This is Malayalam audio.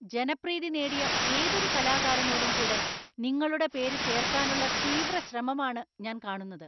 ജനപ്രീതി നേടിയ ഏതൊരു കലാകാരനോടും കൂടെ നിങ്ങളുടെ പേര് ചേർക്കാനുള്ള തീവ്രശ്രമമാണ് ഞാൻ കാണുന്നത്.